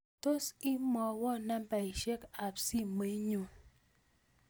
Tos imwowon nambaisyek ab simoinyun